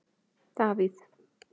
Davíð